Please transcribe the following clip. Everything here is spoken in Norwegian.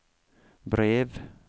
brev